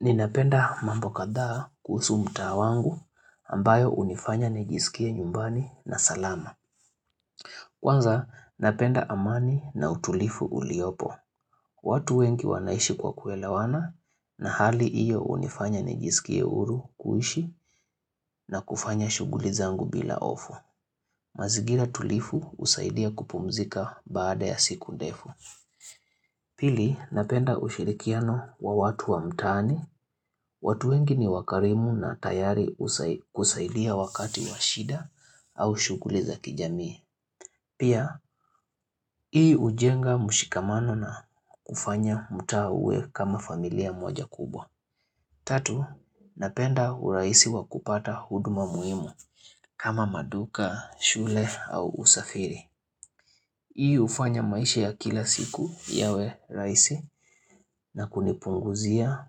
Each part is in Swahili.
Ninapenda mambo katha kusuhu mta wangu ambayo unifanya nijisikia nyumbani na salama. Kwanza, napenda amani na utulifu uliopo. Watu wengi wanaishi kwa kuelawana na hali iyo unifanya nijisikia huru kuhishi na kufanya shuguli zangu bila ofu. Mazigira tulifu usaidia kupumzika baada ya siku defu. Pili, napenda ushirikiano wa watu wa mtani. Watu wengi ni wakarimu na tayari kusaidia wakati wa shida au shukuliza kijamii. Pia, hii ujenga mushikamano na kufanya mutawe kama familia mwaja kubwa. Tatu, napenda uraisi wakupata huduma muhimu kama maduka, shule au usafiri. Hii ufanya maisha ya kila siku yawe rasihi na kunipunguzia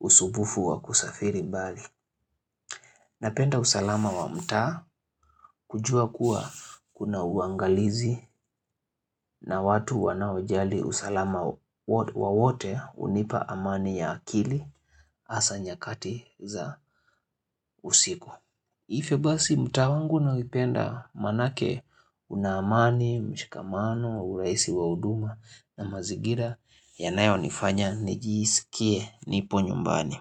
usubufu wakusafiri bali. Napenda usalama wa mta kujua kuwa kuna uangalizi na watu wanaojali usalama wa wote wote unipa amani ya akili hasa nyakati za usiku. Ivo basi mta wangu na upenda manake unamani, mshikamano, uraisi wa huduma na mazigira yanayo nifanya nijisikie nipo nyumbani.